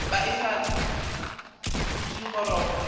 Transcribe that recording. be e sa le pudigoroga